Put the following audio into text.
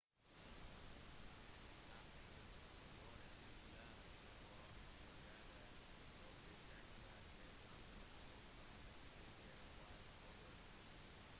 tyskland begynte å gjøre seg klare til å invadere storbritannia da kampen om frankrike var over